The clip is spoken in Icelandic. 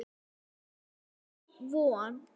Alltaf von.